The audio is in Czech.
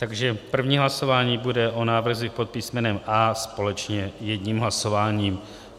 Takže první hlasování bude o návrzích pod písmenem A společně jedním hlasováním.